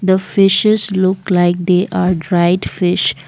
a fishes look like the they are dried fish.